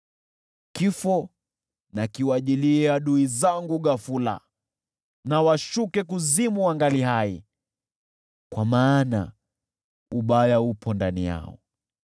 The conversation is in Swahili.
Kifo na kiwajie adui zangu ghafula, na washuke kuzimu wangali hai, kwa maana uovu upo ndani yao.